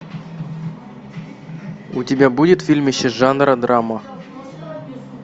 у тебя будет фильмище жанра драма